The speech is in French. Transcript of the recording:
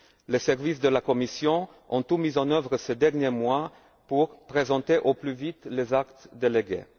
Les services de la Commission ont tout mis en œuvre, ces derniers mois, pour présenter au plus vite les actes délégués.